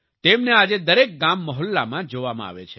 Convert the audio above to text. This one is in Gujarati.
તેમને આજે દરેક ગામમહોલ્લામાં જોવામાં આવે છે